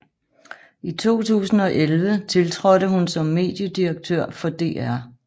I 2011 tiltrådte hun som mediedirektør for DR